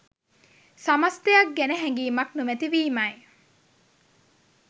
සමස්තයක් ගැන හැඟීමක් නොමැති වීමයි.